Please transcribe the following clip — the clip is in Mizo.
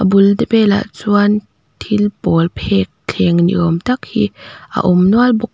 bul te belah chuan thil pawl phek thleng ni awm tak hi a awm nual bawk--